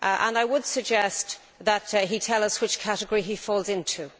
I would suggest that he tells us what category he falls into.